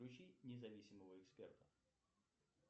включи независимого эксперта